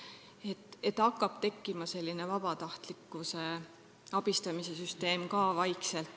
Vaikselt hakkab tekkima ka vabatahtliku abistamise süsteem.